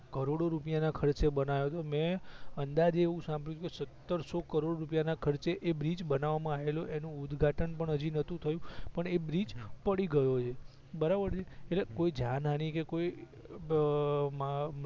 કરોડો રૂપિયા ના ખર્ચે બનાયો તો મે અંદાજે એવું સાંભડિયું તુ ક સત્તરસો કરોડ રૂપિયા ના ખર્ચે એ બ્રિજ બનવા માં આયેલો એનું ઉદઘાટન પણ હજી નોતું થયું પણ એ બ્રિજ પડી ગયો એ બરાબર છે એટલે કોઈ જાનહાનિ કે કોઈ બ માં